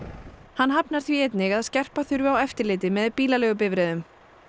hann hafnar því að skerpa þurfi á eftirliti með bílaleigubifreiðum